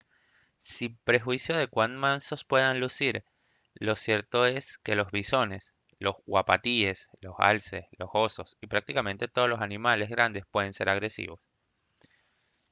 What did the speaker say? sin perjuicio de cuán mansos puedan lucir lo cierto es que los bisones los uapatíes los alces los osos y prácticamente todos los animales grandes pueden se agresivos